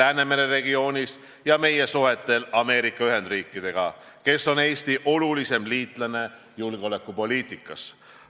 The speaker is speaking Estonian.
Läänemere regioonis ja meie suhtel Ameerika Ühendriikidega, kes on Eesti olulisim liitlane julgeolekupoliitikas.